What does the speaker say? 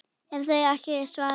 ef þau ekki svara